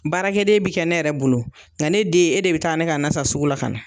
Baarakɛden bɛ kɛ ne yɛrɛ bolo , nka ne den e de bɛ taa ne ka na san sugu la ka na.